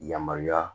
Yamaruya